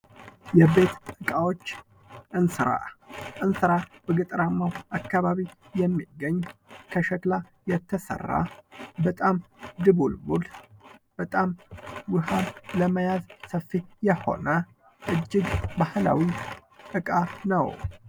የቤት እቃዎች፦ እንስራ፦ እንስራ በገጠራማው አካባቢ የሚገኝ ከሸክላ የተሰራ በጣም ድቡልቡል በጣም ውሃ ለመያዝ ሰፊ የሆነ እጅግ ባህላዊ እቃ ነው።